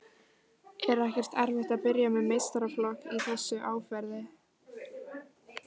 Er ekkert erfitt að byrja með meistaraflokk í þessu árferði?